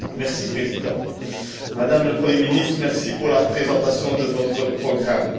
Monsieur le Président, Madame le Premier ministre, merci pour la présentation de votre programme.